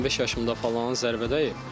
15 yaşımda falan zərbə dəyib.